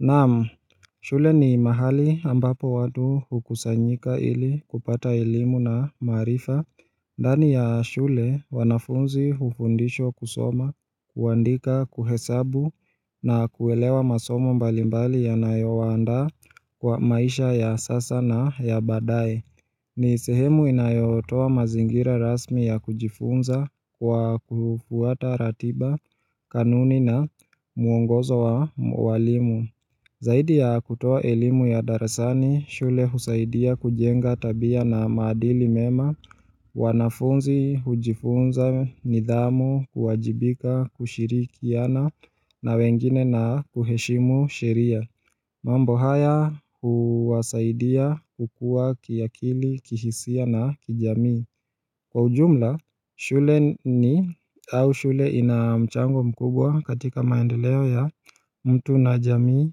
Naam, shule ni mahali ambapo watu hukusanyika ili kupata ilimu na marifa ndani ya shule wanafunzi hufundishwa kusoma, kuandika, kuhesabu na kuelewa masomo mbalimbali ya nayo waanda kwa maisha ya sasa na ya baadae ni sehemu inayotowa mazingira rasmi ya kujifunza kwa kufuata ratiba, kanuni na muongozo wa walimu Zaidi ya kutoa elimu ya darasani, shule husaidia kujenga tabia na maadili mema, wanafunzi, hujifunza, nidhamu, kuwajibika, kushirikiana na wengine na kuheshimu sheria. Mambo haya huwasaidia kukua kiakili, kihisia na kijami. Kwa ujumla, shule ni au shule inamchango mkubwa katika maendeleo ya mtu na jamii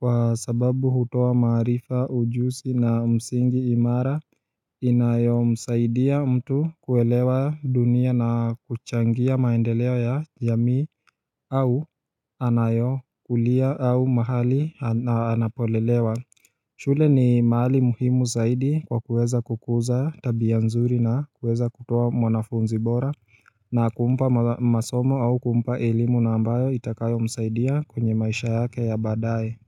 kwa sababu hutoa maarifa ujusi na msingi imara inayomsaidia mtu kuelewa dunia na kuchangia maendeleo ya jamii au anayo kulia au mahali anapolelewa shule ni mahali muhimu zaidi kwa kuweza kukuza tabiya nzuri na kuweza kutoa mwanafunzi bora na kumpa masomo au kumpa elimu na ambayo itakayo msaidia kwenye maisha yake ya badaye.